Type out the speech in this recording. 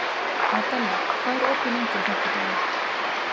Adela, hvað er opið lengi á fimmtudaginn?